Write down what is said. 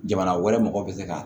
Jamana wɛrɛ mɔgɔw bɛ se ka